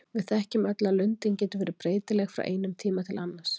Við þekkjum öll að lundin getur verið breytileg frá einum tíma til annars.